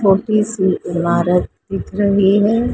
छोटी सी ईमारत दिख रही है।